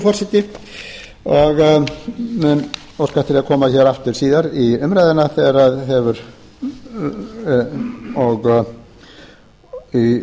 forseti en mun óska eftir að koma hér aftur síðar í umræðuna þegar í ljósi